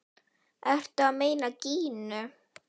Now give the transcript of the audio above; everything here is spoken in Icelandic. Ertu að meina Gínu?